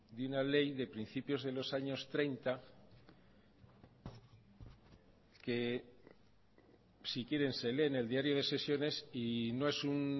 de una ley de principios de los años treinta que si quieren se leen el diario de sesiones y no es un